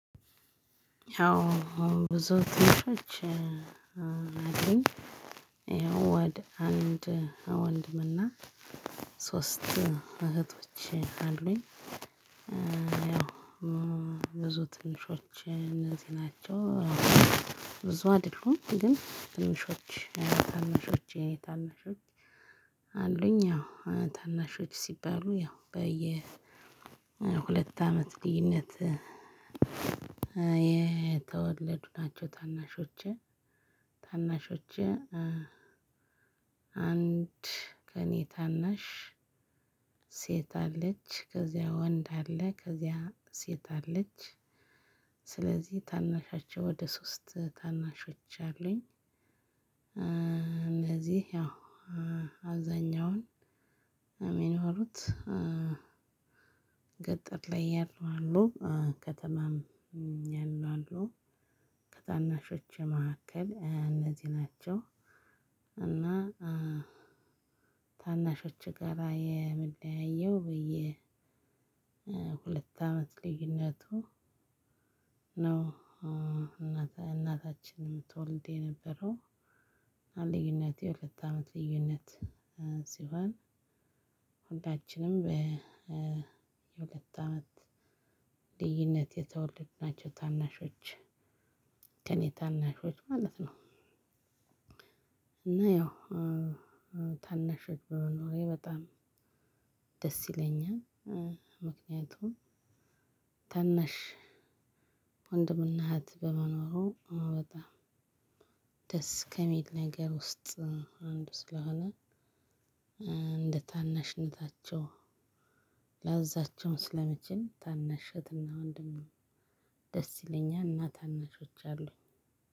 ያው ብዙ ወንድሞች አለኝ። ወደ አንድ ወንድምና ሶስት እህቶች አሉኝ። ብዙ ትንሾቸ እነዚህ ናቸው። ብዙ አይደሉም ግን ትንሾች ታናሾች የእኔ ታናሾች አሉኝ። ያው ታናሾች ሲባሉ ያው በየ ሁለት አመት ልዩነት የተወለዱ ናቸው። ታናሾቸ ታናሾቸ አንድ ከእኔ ታናሽ ሴት አለች፣ ከዚያ ወንድ አለ፣ ከዚያ ሴት አለች። ስለዚህ ታናሻቸው ወደ ሶስት ታናሾች አሉኝ። እነዚህ ያው አብዛኛውን የሚኖሩት ገጠር ላይ ያሉ አሉ፣ ከተማም ያሉ አሉ። ከታናሾቸ መካከል እነዚህ ናቸው። እና ታናሾቸ ጋራ የምለያየው በየ ሁለት አመት ልዩነቱ ነው። እናት እናታችን የምትወልድ የነበረው ልዩነት የሁለት አመት ልዩነት ሲሆን ሁላችንም የሁለት አመት ልዩነት የተወለድናቸው ታናሾች ከእኔ ታናሾች ማለት ነው። እና ያው ታናሾች በመኖሬ በጣም ደስ ይለኛል። ምክንያቱም ታነሽ ወንድምና እህት በመኖሩ በጣም ደስ ከሚል ነገር ውስጥ አንዱ ስለሆነ እንደ ታናሽነታቸው ላዝዛቸው ስለምችል ታናሽ እህትና ወንድም ደስ ይለኛል። እና ታናሾች አሉኝ።